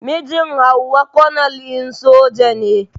Mijin Hauwa konel din soja ne.